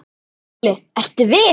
SKÚLI: Ertu viss?